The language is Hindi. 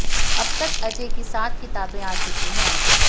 अब तक अजय की सात किताबें आ चुकी हैं